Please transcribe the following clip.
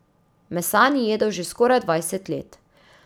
Mesa ni jedel že skoraj dvajset let.